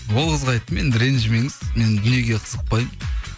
ол қызға айттым енді ренжімеңіз мен дүниеге қызықпаймын